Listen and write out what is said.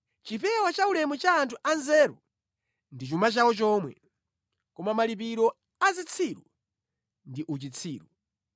Chipewa chaulemu cha anthu a nzeru ndi chuma chawo chomwe, koma malipiro a zitsiru ndi uchitsiru.